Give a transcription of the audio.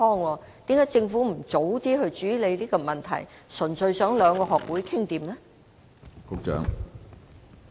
為何政府不早些處理這個問題，而是單純依靠兩個學會自行商量和處理呢？